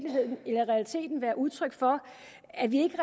være udtryk for at vi ikke